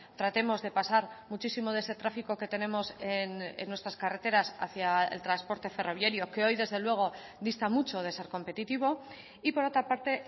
tratemos de pasar muchísimo de ese tráfico que tenemos en nuestras carreteras hacia el transporte ferroviario que hoy desde luego dista mucho de ser competitivo y por otra parte